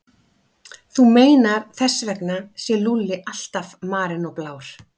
Þú meinar að þess vegna sé Lúlli alltaf marinn og blár?